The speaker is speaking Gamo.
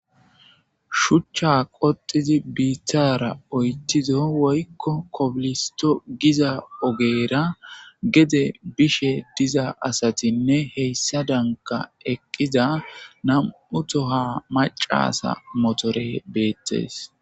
shuchcha qoxizi bittara oyttido woykko kobilisto giza ogeera gede bishe diza asatinne heyssa danka eqqiza nam7u toha macasa motore beettes